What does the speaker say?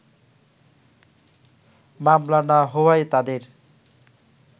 মামলা না হওয়ায় তাদের